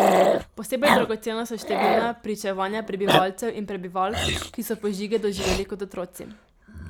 Posebej dragocena so številna pričevanja prebivalcev in prebivalk, ki so požige doživeli kot otroci.